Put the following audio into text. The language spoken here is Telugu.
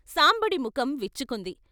సాంబడి ముఖం విచ్చుకుంది.